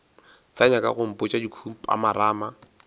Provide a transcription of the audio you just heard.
sa nyaka go mpotša dikhupamarama